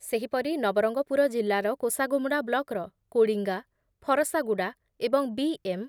ସେହିପରି ନବରଙ୍ଗପୁର ଜିଲ୍ଲାର କୋଷାଗୁମୁଡ଼ା ବ୍ଲକ୍‌ର କୋଡ଼ିଙ୍ଗା, ଫରଶାଗୁଡ଼ା ଏବଂ ବି ଏମ୍